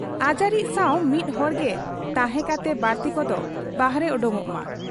ᱟᱡᱟᱨᱤᱡ ᱥᱟᱶ ᱢᱤᱫ ᱦᱚᱲᱜᱮ ᱛᱟᱦᱮᱸ ᱠᱟᱛᱮ ᱵᱟᱹᱲᱛᱤ ᱠᱚᱫᱚ ᱵᱟᱦᱨᱮ ᱚᱰᱚᱠᱚᱜ ᱢᱟ ᱾